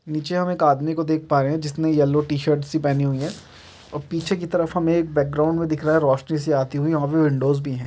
नीचे हम एक आदमी को देख पा रहे है जिसने यल्लो टी शर्ट पहनी हुई है और पीछे की तरफ हम एक बैकग्राउंड में देख रहा है रोशनी सी आती हुई वहां पे विंडोज़ भी है।